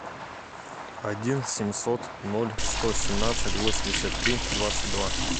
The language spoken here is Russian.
один семьсот ноль сто семнадцать восемьдесят три двадцать два